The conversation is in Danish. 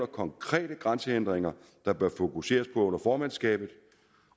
konkrete grænsehindringer der bør fokuseres på under formandskabet